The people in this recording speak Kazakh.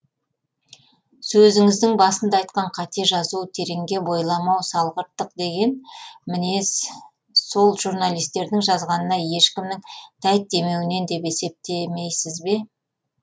сөзіңіздің басында айтқан қате жазу тереңге бойламау салғырттық деген мінез сол журналистердің жазғанына ешкімнің тәйт демеуінен деп есептемейсіз бе